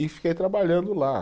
E fiquei trabalhando lá.